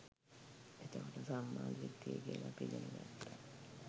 එතකොට සම්මා දිට්ඨිය කියල අපි ඉගෙන ගත්තා